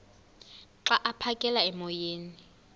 xa aphekela emoyeni